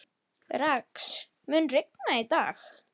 Hún skemmtir sér oft í Sjallanum um helgar.